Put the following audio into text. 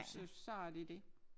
Så så er det det